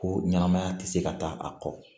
Ko ɲɛnamaya tɛ se ka taa a kɔ